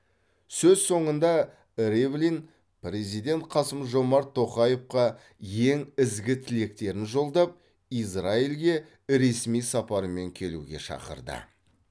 сөз соңында ривлин президент қасым жомарт тоқаевқа ең ізгі тілектерін жолдап израильге ресми сапармен келуге шақырды